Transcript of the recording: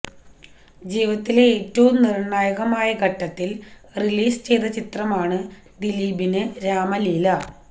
ജീവിതത്തിലെ ഏറ്റവും നിര്ണായകമായ ഘട്ടത്തില് റിലീസ് ചെയ്ത ചിത്രമാണ് ദിലീപിന് രാമലീല